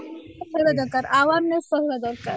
ରହିବା ଦରକାର awareness ରହିବା ଦରକାର